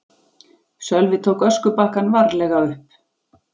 Sölvi tók öskubakkann varlega upp.